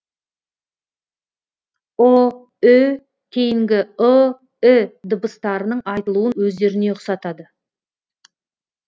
ұ ү кейінгі ы і дыбыстарының айтылуын өздеріне ұқсатады